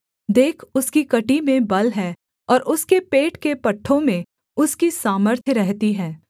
देख उसकी कमर में बल है और उसके पेट के पट्ठों में उसकी सामर्थ्य रहती है